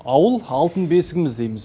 ауыл алтын бесігіміз дейміз